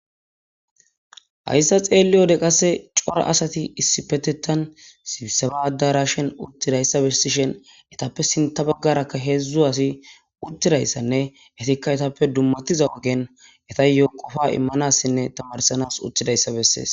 hayssa xeelli ode qasse cora asati issi petetan siisabaadarashen uttidayssa bessishen etappe sinta baggarakka heedzdzu asi uttidayssanne etikka etappe dummatiza ogen eta yoqofa immanassinne tamarsanas uttidayssa bessees